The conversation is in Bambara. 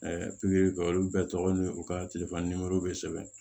pikiri kɛ olu bɛɛ tɔgɔ ni u ka telefɔni bɛ sɛbɛn